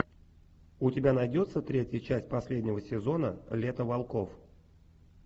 у тебя найдется третья часть последнего сезона лето волков